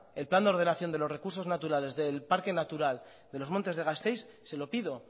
el plan de ordenación de los recursos naturales del parque natural de los montes de gasteiz se lo pido